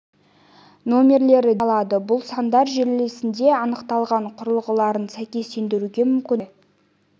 нөмірлері деп аталады бұл сандар желілерінде анықталған құрылғыларын сәйкестендіруге мүмкіндік береді